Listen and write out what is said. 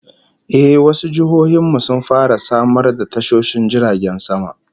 Eh, wasu jihohin mu sun fara samar da tashoshin jiragen sama